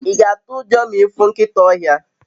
i ga atu ujo ma ifu nkita ohia?